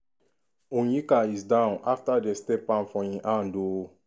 onyeka is down afta dem step for im hand ooo.